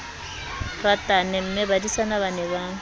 ratane mmebadisana ba ne ba